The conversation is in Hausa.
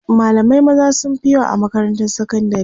malamai maza sunfi yawa a makarantar sakandari